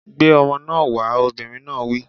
Gbé ọmọ náà wá! Obìnrin náà wí